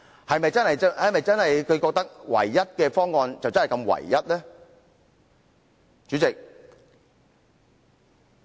代理主席，大家認為是唯一的方案，是否真的就是唯一的呢？